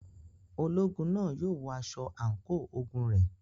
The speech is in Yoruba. Ológun náà yóò wọ aṣọ àǹkóò ogun rẹ̀.